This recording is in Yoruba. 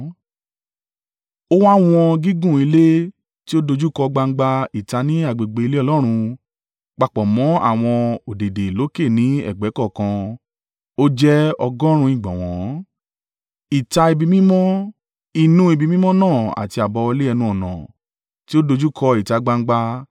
Ó wá wọn gígùn ilé tí ó dojúkọ gbangba ìta ní agbègbè ilé Ọlọ́run papọ̀ mọ́ àwọn ọ̀dẹ̀dẹ̀ lókè ní ẹ̀gbẹ́ kọ̀ọ̀kan; ó jẹ́ ọgọ́rùn-ún ìgbọ̀nwọ́. Ìta ibi mímọ́, inú ibi mímọ́ náà àti àbáwọlé ẹnu-ọ̀nà tí ó dojúkọ ìta gbangba,